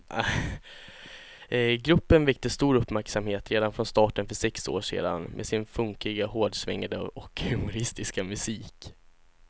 Gruppen väckte stor uppmärksamhet redan från starten för sex år sedan med sin funkiga, hårdsvängande och humoristiska musik.